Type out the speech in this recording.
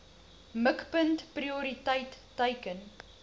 mikpunt prioriteit teiken